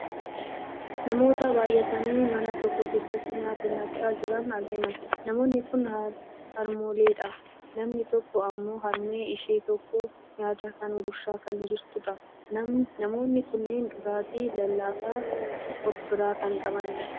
namoota baayyatanii mana tokko keessatti nyaata nyaachaa jiran argina. namoonni kun harmooleedha. namni tokko ammoo harmee ishee tokko nyaata kana gurshaa kan jirtu dha. namoonni kunneen dhugaatii lallaafaas of biraa kan qabanidha.